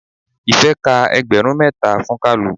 Ife ka ẹgbẹrun mẹ́ta fún kalu.